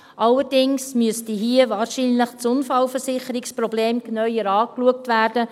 Allerdings müsste hier wahrscheinlich das Unfallversicherungsproblem genauer angeschaut werden.